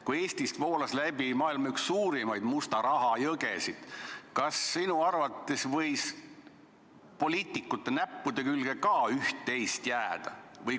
Kui Eestist voolas läbi üks maailma suurimaid musta raha jõgesid, siis kas sinu arvates võis ka poliitikute näppude külge üht-teist jääda?